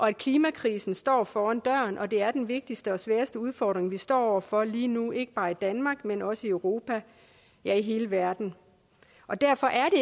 at klimakrisen står for døren og at det er den vigtigste og sværeste udfordring vi står over for lige nu ikke bare i danmark men også i europa ja i hele verden derfor er